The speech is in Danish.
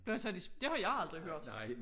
Blev han sat i det har jeg aldrig hørt